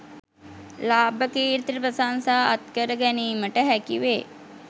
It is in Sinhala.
ලාභ කීර්ති ප්‍රශංසා අත්කර ගැනීමට හැකි වේ